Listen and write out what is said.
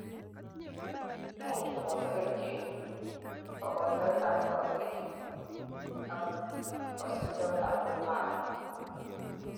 imuch koboto kerichek, kogoitoet ab korotik ak kosibtoet ab bone marrow